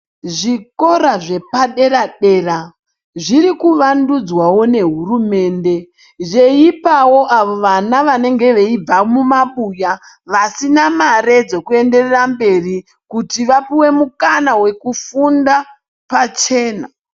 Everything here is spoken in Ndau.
Zvikora zvepadera dera zvirikuvandudzwawo nehurumende zveipawo vana vanenge veibva mumabuya vasina mare dzekuenderera mberi kuti vapuwe mukana wekufunda pachena.